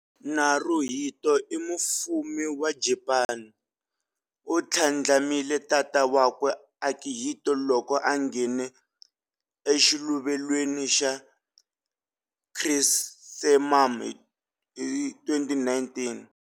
Naruhito i Mufumi wa Japani, u tlhandlamile tata wakwe Akihito loko a nghene eXiluvelweni xa Chrysanthemum hi 2019.